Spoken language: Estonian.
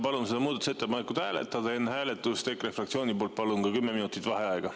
Palun seda muudatusettepanekut hääletada ja enne hääletust EKRE fraktsiooni poolt palun ka 10 minutit vaheaega.